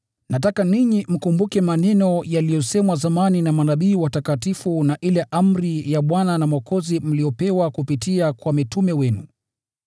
Nataka ninyi mkumbuke maneno yaliyosemwa zamani na manabii watakatifu na ile amri ya Bwana na Mwokozi mliyopewa kupitia kwa mitume wenu.